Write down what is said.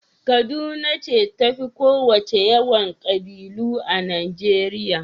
Kaduna ce ta fi ƙowacce yawan ƙabilu a Najeriya.